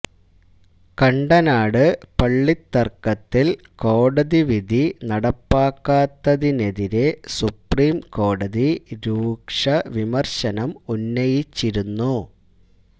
കണ്ടനാട് പള്ളിത്തര്ക്കത്തില് കോടതി വിധി നടപ്പാക്കാത്തതിനെതിരെ സുപ്രീം കോടതി രൂക്ഷവിമര്ശനം ഉന്നയിച്ചിരുന്നു